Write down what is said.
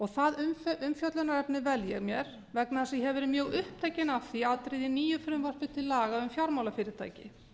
það umfjöllunarefni vel ég mér vegna þess að ég hef verið mjög upptekin af því atriði í nýju frumvarpi til laga um fjármálafyrirtæki